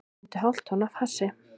Fundu hálft tonn af hassi